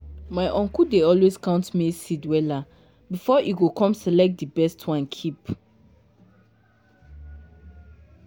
my uncle dey always count maize seed wella before e go com select di best one keep.